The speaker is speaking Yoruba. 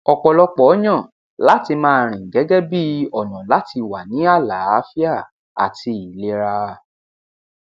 ọpọlọpọ yàn láti máa rìn gẹgẹ bíi ọnà láti wà ní àlàáfíà àti ilera